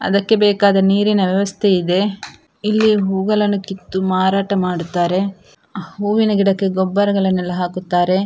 ಅದಕ್ಕೆ ಬೇಕಾದ ನೀರಿನ ವ್ಯವಸ್ಥೆ ಇದೆ ಇಲ್ಲಿ ಹೂಗಳನ್ನು ಕಿತ್ತು ಮಾರಾಟ ಮಾಡುತ್ತಾರೆ ಹೂವಿನ ಗಿಡಕ್ಕೆ ಗೊಬ್ಬರಗಳನ್ನೆಲ್ಲಾ ಹಾಕುತ್ತಾರೆ.